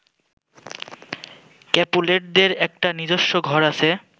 ক্যাপুলেটদের একটা নিজস্ব ঘর আছে